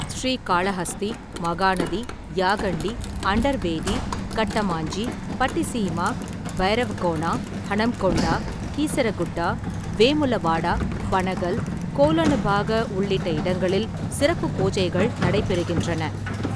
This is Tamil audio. ஸ்ரீகாளஹஸ்தி, மகாநதி, யாகண்டி, அண்டர்வேதி, கட்டமாஞ்சி, பட்டிசீமா, பைரவகோனா, ஹனம்கொண்டா, கீசரகுட்டா, வேமுலவாடா, பனகல், கோலனுபாக உள்ளிட்ட இடங்களில் சிறப்பு பூஜைகள் நடைபெறுகின்றன.